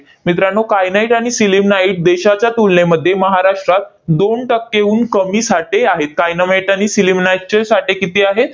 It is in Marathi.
मित्रांनो, kyanite आणि sillimanite देशाच्या तुलनेमध्ये महाराष्ट्रात दोन टक्केहून कमी साठे आहेत. kyanite आणि sillimanite चे साठे किती आहेत?